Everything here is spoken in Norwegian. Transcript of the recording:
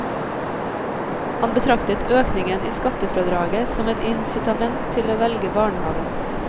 Han betraktet økningen i skattefradraget som et incitament til å velge barnehave.